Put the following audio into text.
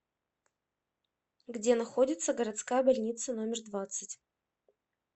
где находится городская больница номер двадцать